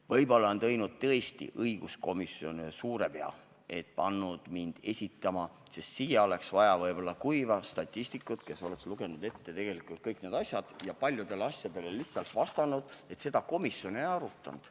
Võib-olla tõesti on õiguskomisjon teinud suure vea, et pani mind seda eelnõu esitama, sest võib-olla oleks siia vaja kuiva statistikut, kes oleks kõik need asjad ette lugenud ja paljude asjade puhul lihtsalt vastanud, et seda komisjon ei arutanud.